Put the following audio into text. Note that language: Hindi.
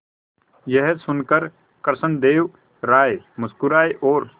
यह सुनकर कृष्णदेव राय मुस्कुराए और